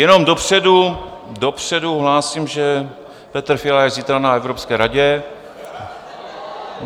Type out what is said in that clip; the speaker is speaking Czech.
Jenom dopředu hlásím, že Petr Fiala je zítra na Evropské radě.